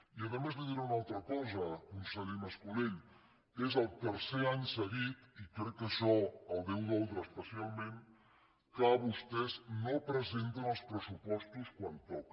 i a més li diré una altra cosa conseller mas colell és el tercer any seguit i crec que això el deu doldre especialment que vostès no presenten els pressupostos quan toca